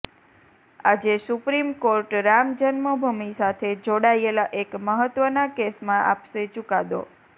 આજે supreme court Ram Janmabhoomi સાથે જોડાયેલા એક મહત્વના કેસમાં આપશે ચુકાદો